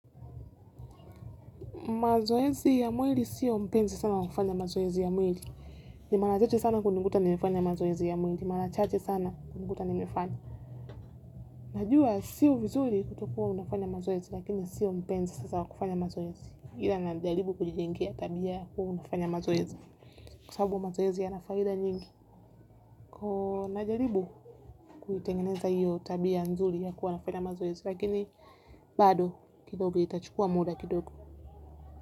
Mazoezi ya mwili sio mpenzi sana wa kufanya mazoezi ya mwili. Ni ni mara chache sana kunikuta nimefanya mazoezi ya mwili. Mara chache sana kunikuta nimefanya. Najua sio vizuri kutokuwa unafanya mazoezi lakini sio mpenzi sasa wa kufanya mazoezi ila najaribu kujijengea tabia ya kuwa nafanya mazoezi. Kwa sababu mazoezi yana faida nyingi kwa hiyo najaribu kuitengeneza hiyo tabia nzuri ya kuwa nafanya mazoezi lakini bado kidogo itachukua muda kidogo.